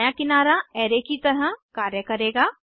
दायां किनारा अराय की तरह कार्य करेगा